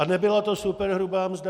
A nebyla to superhrubá mzda.